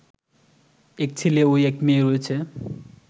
এক ছেলে ও এক মেয়ে রয়েছে